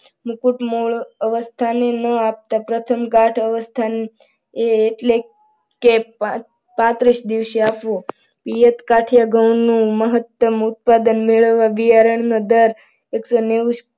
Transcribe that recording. મુકુટ મોડ અવસ્થામાં આપતા પ્રથમ ઘાટ અવસ્થામાં એટલે કે પત્રીસ દિવસે આપવું. પિયત કાઠીયા ઘઉં ઉત્પાદન મેળવવા બિયારણનો દર એકસો નેવું